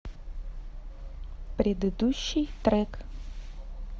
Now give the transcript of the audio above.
предыдущий трек